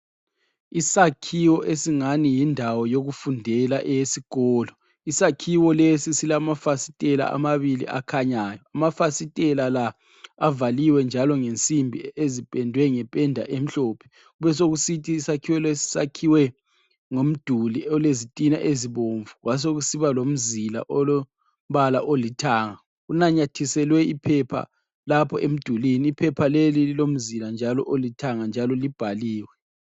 Isakhiwo esingani yindawo yokufundela eyesikolo. Isakhiwo lesi silamafasitela amabili akhanyayo. Amafasitela la avaliwe njalo ngensimbi ezipendwe ngependa emhlophe besokusithi isakhiwo lesi sakhiwe ngomduli olezitina ezibomvu kwasekusiba lomzila olombala olithanga. Kunanyathiselwe iphepha lapho emdulini, iphepha leli lilomzila njalo olithanga njalo libhaliwe.